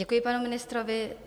Děkuji panu ministrovi.